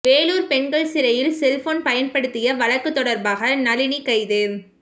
வேலூர் பெண்கள் சிறையில் செல்போன் பயன்படுத்திய வழக்கு தொடர்பாக நளினி கைது